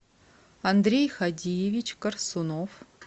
андрей хадиевич корсунов